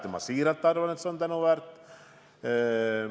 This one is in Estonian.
Ja ma siiralt arvan, et see on tänuväärt.